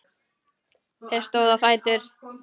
Þeir stóðu á fætur.